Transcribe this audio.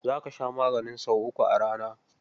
Za ka sha maganin sau uku a rana.